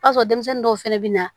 O y'a sɔrɔ denmisɛnnin dɔw fɛnɛ bɛ na